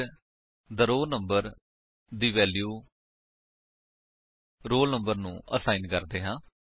ਫਿਰ the roll number ਦੀ value roll number ਨੂੰ ਅਸਾਇਨ ਕਰਦੇ ਹਾਂ